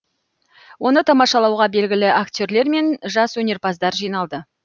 оны тамашалауға белгілі актерлер мен жас өнерпаздар жиналды